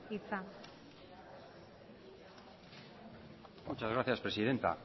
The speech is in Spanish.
hitza muchas gracias presidenta